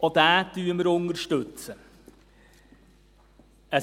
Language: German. Auch diesen unterstützen wir.